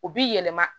U bi yɛlɛma